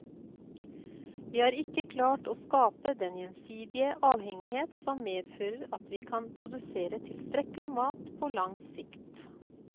Vi har ikke klart å skape den gjensidige avhengighet som medfører at vi kan produsere tilstrekkelig mat på lang sikt.